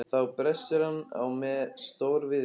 Þá brestur hann á með stór- viðri.